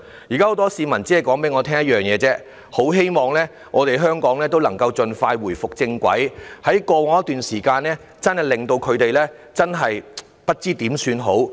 現在很多市民只跟我說一件事：很希望香港能夠回復正軌，因為在過往一段時間，情況真的令他們不知如何是好。